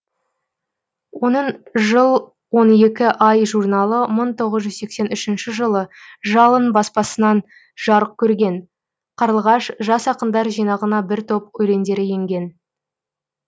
оның жыл он екі ай журналы мың тоғыз жүз сексен үшінші жылы жалын баспасынан жарық көрген қарлығаш жас ақындар жинағына бір топ өлеңдері енген